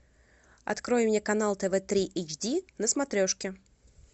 открой мне канал тв три эйч ди на смотрешке